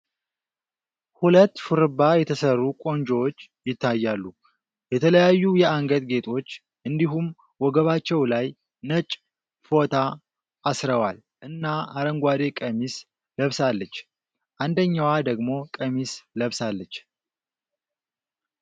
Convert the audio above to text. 2 ሹርባ የተሰሩ ቆንጆዎች ይታያሉ የተለያዩ የአንገት ጌጦች እንዲሁም ወገባቸው ላይ ነጭ ፎታ አስረዋል እና አረንጓዴ ቀሚስ ለብሳለች አንደኛው ደግሞ ቀሚስ ለብሳለች ።